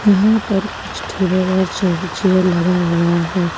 यहां पर कुछ टेबल और चेयर लगा हुआ है।